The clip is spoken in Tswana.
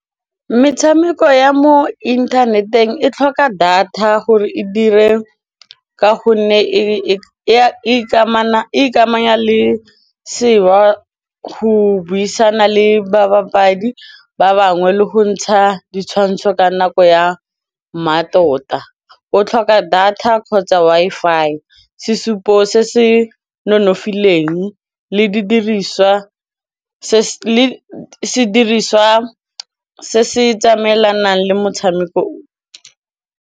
Metshameko ya mo inthaneteng e tlhoka data gore e dire ka gonne e ikamanya le go buisana le babapadi ba bangwe le go ntsha ditshwantsho ka nako ya mmatota, o tlhoka data kgotsa Wi-Fi sesupo se se nonofileng le sediriswa se se tsamaelanang le motshameko.